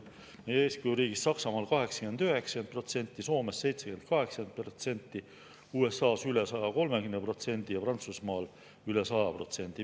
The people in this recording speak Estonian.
Meie eeskujuriigis Saksamaal 89%, Soomes 78%, USA-s üle 130% ja Prantsusmaal üle 100%.